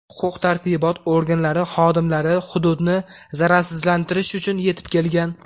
Huquq-tartibot organlari xodimlari hududni zararsizlantirish uchun yetib kelgan.